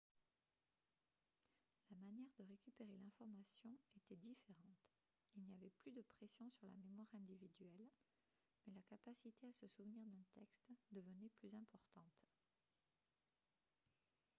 la manière de récupérer l'information était différente il n'y avait plus de pression sur la mémoire individuelle mais la capacité à se souvenir d'un texte devenait plus importante